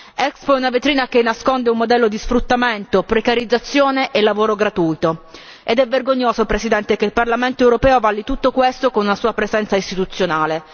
Expo è una vetrina che nasconde un modello di sfruttamento, precarizzazione e lavoro gratuito ed è vergognoso, Presidente, che il Parlamento europeo avalli tutto questo con una sua presenza istituzionale.